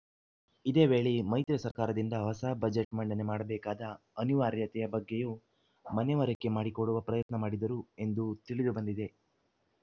ಇದೇ ವೇಳಿ ಮೈತ್ರಿ ಸರ್ಕಾರದಿಂದ ಹೊಸ ಬಜೆಟ್‌ ಮಂಡನೆ ಮಾಡಬೇಕಾದ ಅನಿವಾರ್ಯತೆಯ ಬಗ್ಗೆಯೂ ಮನವರಿಕೆ ಮಾಡಿಕೊಡುವ ಪ್ರಯತ್ನ ಮಾಡಿದರು ಎಂದು ತಿಳಿದು ಬಂದಿದೆ